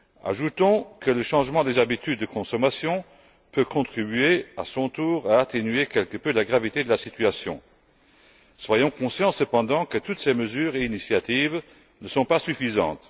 Ajoutons que le changement des habitudes de consommation peut contribuer, à son tour, à atténuer quelque peu la gravité de la situation. Soyons conscients, cependant, que toutes ces mesures et initiatives ne sont pas suffisantes.